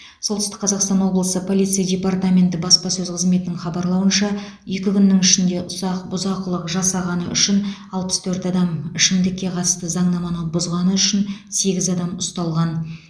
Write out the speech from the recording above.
солтүстңк қазақстан облысы полиция департаменті баспасөз қызметінің хабарлауынша екі күннің ішінде ұсақ бұзақылық жасағаны үшін алпыс төрт адам ішімдікке қатысты заңнаманы бұзғаны үшін сегіз адам ұсталған